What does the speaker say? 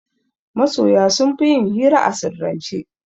Masoya sunfi yin hira a sirrance